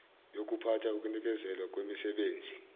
yokuphatha ukunikezelwa kwemisebenzi